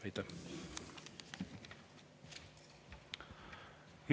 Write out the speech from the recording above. Aitäh!